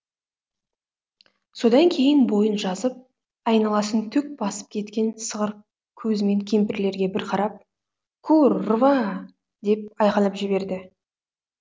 содан кейін бойын жазып айналасын түк басып кеткен сығыр көзімен кемпірлерге бір қарап кур рва деп айқайлап жіберді